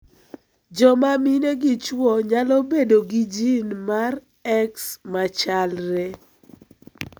Joma mine gi chuo nyalo bedo gi gin mar X machaklre.